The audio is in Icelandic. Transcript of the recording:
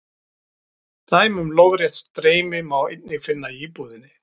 Dæmi um lóðrétt streymi má einnig finna í íbúðinni.